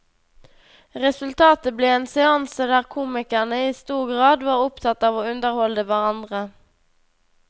Resultatet ble en seanse der komikerne i stor grad var opptatt av å underholde hverandre.